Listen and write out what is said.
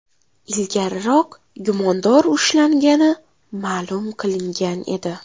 Ilgariroq gumondor ushlangani ma’lum qilingan edi.